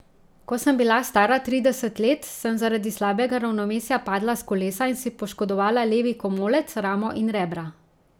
Ko sem bila stara trideset let, sem zaradi slabega ravnovesja padla s kolesa in si poškodovala levi komolec, ramo in rebra.